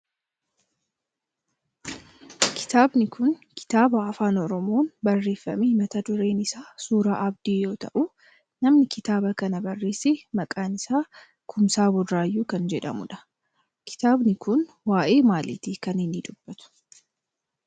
kitaabni kun kitaaba afaan oromoon barreeffame mata dureen isaa suuraa abdii yoo ta'u namni kitaaba kana barreesse maqaan isaa Kumsaa Burayyuu nama jedhamudha. kitaabni kun waayee maaliti kan inni dubatu?